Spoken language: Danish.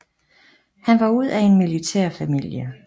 Han var ud af en militær familie